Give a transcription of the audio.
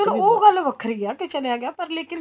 ਚਲੋ ਉਹ ਗੱਲ ਵੱਖਰੀ ਏ ਕੀ ਚਲਿਆ ਗਿਆ ਪਰ ਲੇਕਿਨ